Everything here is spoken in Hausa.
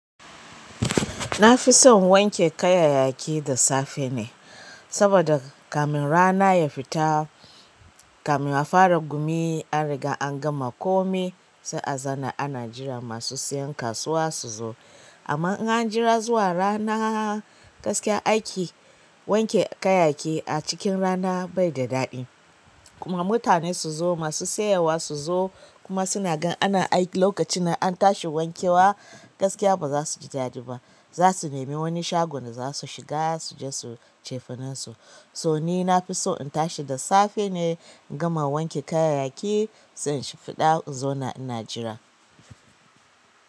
Nafi son in wanke kayayyaki da safe ne saboda kafin kamin rana ya fita kamin a fara gumi an riga an gama komai sai a zana ana jiran masu siyan kasuwa su zo. Amma in an jira zuwa rana, gaskiya aiki wanke kayaki a cikin rana bai da daɗi. Kuma mutane su zo masu sayarwa su zo kuma suna gan ana aiki lokacin nan an tashi wankewa, gaskiya ba za su ji daɗi ba. Za su nemi wani shagon da za su shiga suje su cefanensu. To ni na fi so in tashi da safe ne in gama wanke kayayyaki zan shi fiɗa in zauna ina jira.